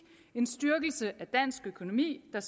en styrkelse af dansk økonomi der